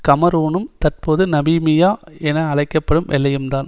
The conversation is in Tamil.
கமரூனும் தற்போது நபீபியா என அழைக்க படும் எல்லையும் தான்